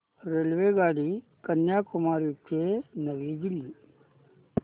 रेल्वेगाडी कन्याकुमारी ते नवी दिल्ली